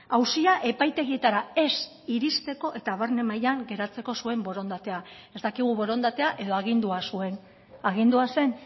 auzia epaitegietara ez iristeko eta barne mailan geratzeko zuen borondatea ez dakigu borondatea edo agindua zuen agindua zen